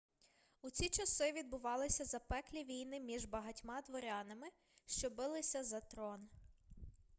у ці часи відбувалися запеклі війни між багатьма дворянами що билися за трон